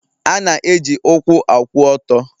A na-eji ụkwụ akwụ ọtọ